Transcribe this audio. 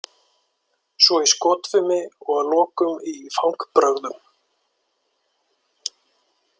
Svo í skotfimi og að lokum í fangbrögðum.